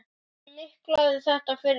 Ég miklaði þetta fyrir mér.